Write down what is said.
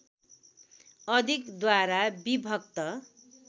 अधिक द्वारा विभक्त